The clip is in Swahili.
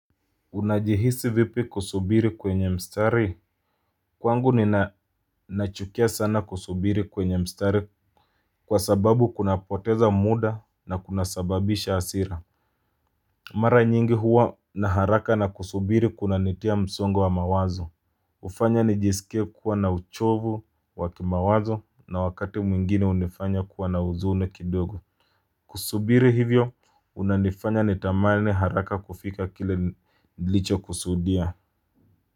Unajihisi vipi kusubiri kwenye mstari? Kwangu nina nachukia sana kusubiri kwenye mstari kwa sababu kunapoteza muda na kuna sababisha hasira. Mara nyingi huwa na haraka na kusubiri kuna nitia msongo wa mawazo. Hufanya nijisikie kuwa na uchovu wa kimawazo na wakati mwingine hunifanya kuwa na huzuni kidogo. Kusubiri hivyo unanifanya nitamani haraka kufika kile nilicho kusudia.